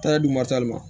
Taa di masali ma